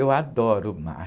Eu adoro o mar.